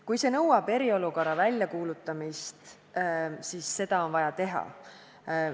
Kui see nõuab eriolukorra väljakuulutamist, siis tuleb seda teha.